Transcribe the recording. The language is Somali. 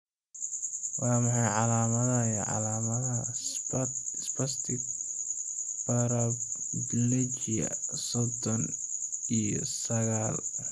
Waa maxay calaamadaha iyo calaamadaha Spastic paraplegia sodhon iyo saagal ?